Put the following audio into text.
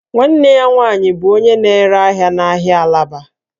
Nwanne ya nwanyị bụ onye na-ere ahịa n'ahịa Alaba